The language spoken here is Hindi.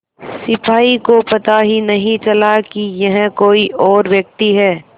सिपाही को पता ही नहीं चला कि यह कोई और व्यक्ति है